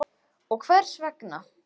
Karen Kjartansdóttir: Og hvers vegna?